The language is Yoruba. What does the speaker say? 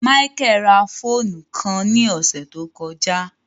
Michael rá fóònù kàn ni ọsẹ to kọja